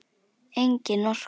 Engin orka.